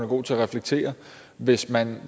god til at reflektere hvis man